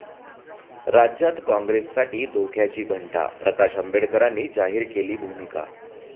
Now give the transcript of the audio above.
राज्यात काँग्रेससाठी धोक्याची घंटा, प्रकाश आंबेडकरांनी जाहीर केली भूमिका